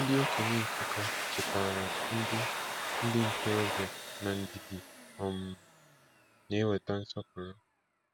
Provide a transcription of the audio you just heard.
Ndị okenye Nsukka chetaara ndị ndị ntorobịa na ndidi um na-eweta nsọpụrụ.